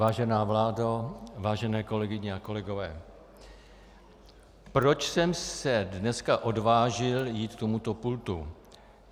Vážená vládo, vážené kolegyně a kolegové, proč jsem se dneska odvážil jít k tomuto pultu?